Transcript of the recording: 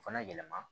O fana yɛlɛma